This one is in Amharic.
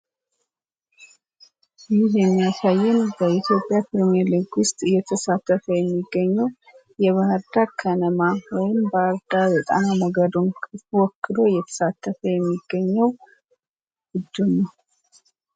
ይህ የሚያሳየን በኢዮጵያ ፕሪሜርሊግ ዉስጥ እየተሳተፈ የሚገኘዉ የባህርዳር ከነማ ወይም ባህርዳር ጣና ሞገዱን ወክሎ እየተሳተፈ የሚገኘዉ ቡድን ነዉ።